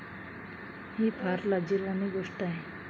ही फार लाजिरवाणी गोष्ट आहे.